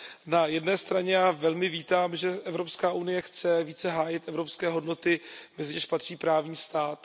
Na jedné straně já velmi vítám, že Evropská unie chce více hájit evropské hodnoty, mezi něž patří právní stát.